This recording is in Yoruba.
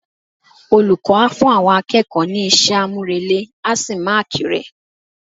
Olùkọ́ a fún àwọn akẹ́kọ̀ọ́ ní iṣẹ́ àmúrelé á sì máàkì rẹ̀.